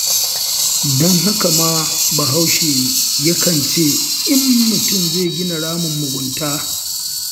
Don haka ma Bahaushe yakan ce, in mutum zai gina ramin mugunta,